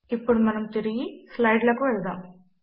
ఇప్పుడు మనము తిరిగి స్లైడ్ లకు వెళదాము